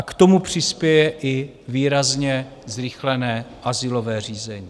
A k tomu přispěje i výrazně zrychlené azylové řízení.